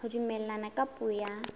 ho dumellana ka puo ya